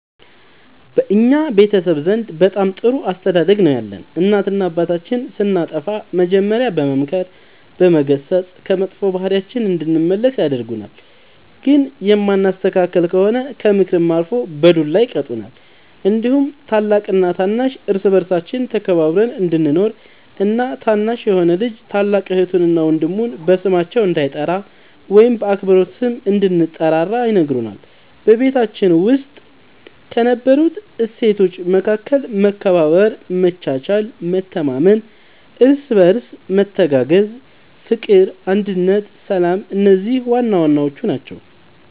በእኛ ቤተሰብ ዘንድ በጣም ጥሩ አስተዳደግ ነው ያለን እናትና አባታችን ስናጠፋ መጀሪያ በመምከር በመገሰፅ ከመጥፎ ባህሪያችን እንድንመለስ ያደርጉናል ግን የማንስተካከል ከሆነ ከምክርም አልፎ በዱላ ይቀጡናል እንዲሁም ታላቅና ታናሽ እርስ በርሳችን ተከባብረን እንድንኖር እና ታናሽ የሆነ ልጅ ታላቅ እህቱን እና ወንድሙ በስማቸው እንዳይጠራ ወይም በአክብሮት ስም እንድንጠራራ ይነግሩናል በቤታችን ውስጥ ከነበሩት እሴቶች መካከል መከባበር መቻቻል መተማመን እርስ በርስ መተጋገዝ ፍቅር አንድነት ሰላም እነዚህ ዋናዋናዎቹ ናቸው